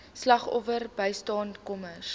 slagoffer bystandskamers